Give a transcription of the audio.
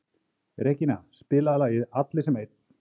Regína, spilaðu lagið „Allir sem einn“.